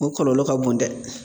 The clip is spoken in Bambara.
O kɔlɔlɔ ka bon dɛ.